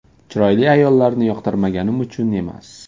Chiroyli ayollarni yoqtirmaganim uchun emas.